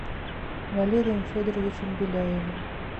валерием федоровичем беляевым